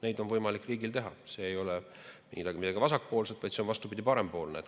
Seda on võimalik riigil teha, see ei ole midagi vasakpoolset, vaid see on vastupidi, parempoolne.